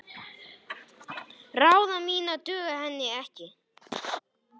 Ráð mín duga henni ekki.